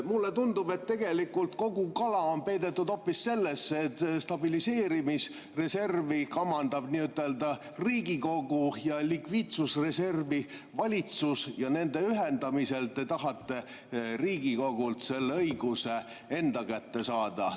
Mulle tundub, et tegelikult on kogu kala peidetud hoopis sellesse, et stabiliseerimisreservi kamandab nii-ütelda Riigikogu ja likviidsusreservi valitsus, aga nende ühendamisel te tahate Riigikogult selle õiguse enda kätte saada.